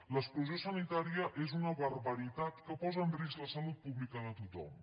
l’exclusió sanitària és una barbaritat que posa en risc la salut pública de tothom